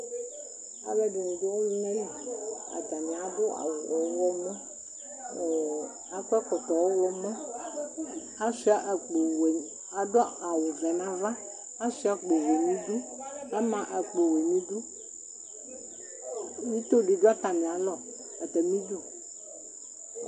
alò ɛdini do ɔluna li atani adu awu ɔwlɔmɔ kò akɔ ɛkɔtɔ ɔwlɔmɔ asua akpo wɛ adu awu vɛ n'ava asua akpo wɛ n'idu ama akpo n'idu ito di do atami alɔ atami du